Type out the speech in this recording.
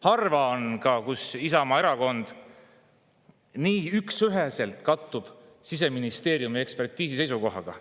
Harva on juhtunud, et Isamaa Erakonna seisukoht üksüheselt kattub Siseministeeriumi ekspertiisi seisukohaga.